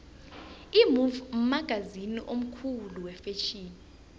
imove mkhangisi omkhulu wefetjheni